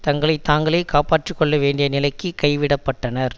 தங்களை தாங்களே காப்பாற்றி கொள்ள வேண்டிய நிலைக்கு கைவிடப்பட்டனர்